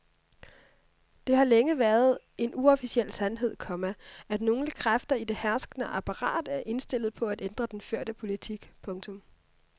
Det har længe været en uofficiel sandhed, komma at nogle kræfter i det herskende apparat er indstillet på at ændre den førte politik. punktum